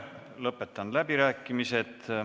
Lõpetan läbirääkimised.